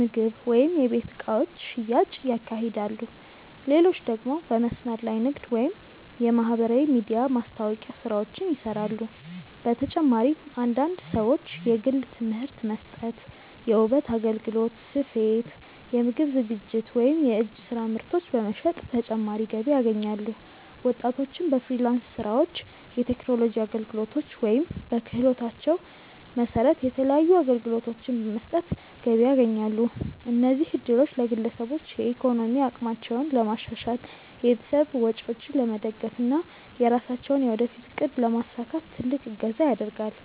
ምግብ ወይም የቤት እቃዎች ሽያጭ ያካሂዳሉ፣ ሌሎች ደግሞ በመስመር ላይ ንግድ ወይም የማህበራዊ ሚዲያ ማስታወቂያ ስራዎችን ይሰራሉ። በተጨማሪም አንዳንድ ሰዎች የግል ትምህርት መስጠት፣ የውበት አገልግሎት፣ ስፌት፣ የምግብ ዝግጅት ወይም የእጅ ስራ ምርቶች በመሸጥ ተጨማሪ ገቢ ያገኛሉ። ወጣቶችም በፍሪላንስ ስራዎች፣ የቴክኖሎጂ አገልግሎቶች ወይም በክህሎታቸው መሰረት የተለያዩ አገልግሎቶችን በመስጠት ገቢ ያስገኛሉ። እነዚህ እድሎች ለግለሰቦች የኢኮኖሚ አቅማቸውን ለማሻሻል፣ የቤተሰብ ወጪዎችን ለመደገፍ እና የራሳቸውን የወደፊት እቅድ ለማሳካት ትልቅ እገዛ ያደርጋል።